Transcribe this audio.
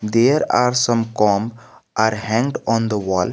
there are some com are hang on the wall.